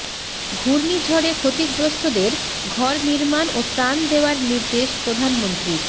ঘূর্ণিঝড়ে ক্ষতিগ্রস্ততের ঘর নির্মাণ ও ত্রাণ দেওয়ার নির্দেশ প্রধানমন্ত্রীর